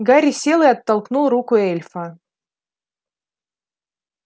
гарри сел и оттолкнул руку эльфа